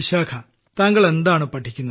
വിശാഖാ താങ്കൾ എന്താണ് പഠിക്കുന്നത്